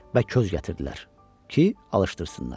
və köz gətirdilər ki, alışdırsınlar.